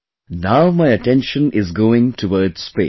Now my attention is going towards space